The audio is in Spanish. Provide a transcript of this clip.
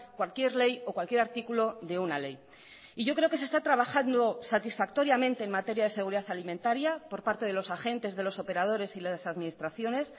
cualquier ley o cualquier artículo de una ley y yo creo que se está trabajando satisfactoriamente en materia de seguridad alimentaria por parte de los agentes de los operadores y las administraciones